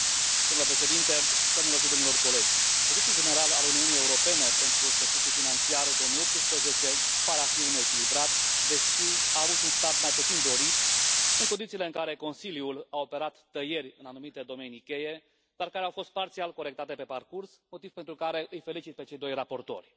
Domnule președinte, doamnelor și domnilor colegi, bugetul general al Uniunii Europene pentru exercițiul financiar 2018 pare a fi unul echilibrat, deși a avut un start mai puțin dorit, în condițiile în care Consiliul a operat tăieri în anumite domenii cheie, dar care au fost parțial corectate pe parcurs, motiv pentru care îi felicit pe cei doi raportori.